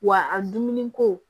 Wa a dumuniko